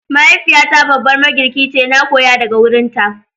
Mahaifiyata babbar magirki ce, na koya daga wurinta.